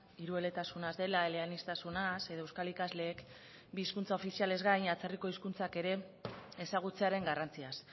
hirueletasunaz dela eleaniztasunaz edo euskal ikasleek bi hizkuntza ofizialez gain atzerriko hizkuntzak ere ezagutzearen garrantziaz